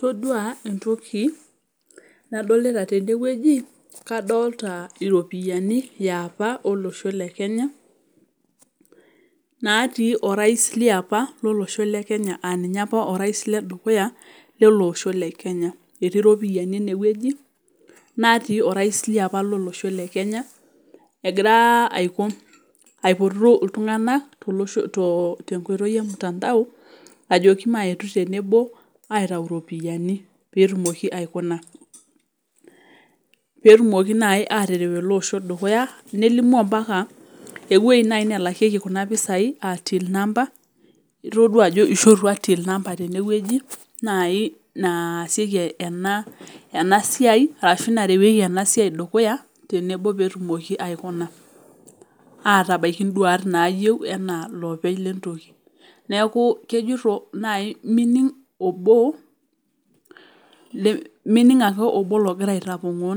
Todua entoki nadolita tene naa iropiyiani e apa olosho lekenya natii orasi leapa lele osho. Etii iropiyiani enewueji nelio ninye egira aipotu iltunganak ajoki mayetu tenebo aitayu iropiyiani peyie kitumoki aatereu ele osho dukuya. Nelimu ewueji nelakieki kuna pisai aa till number itodua ajo eishorutua peyie etumokini aatereu ena siai dukuya. Neaku kejoito ming ake obo ogira aitapongoo